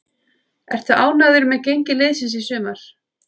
Ertu ánægður með gengi liðsins í sumar?